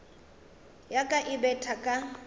ya ka e betha ka